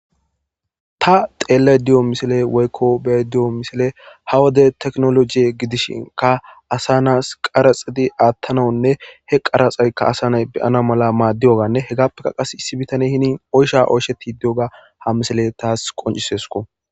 ta xeellay diyo misile woykko bey diyo misile hawade teknolojie gidishinka asa naas qaraxidi aattanawunne he qaraxekka asa nay beyana mala maaddiyoganne hegappeka qas issi bitane hini oysha oysheti diyoga ha misile taas qoncisesko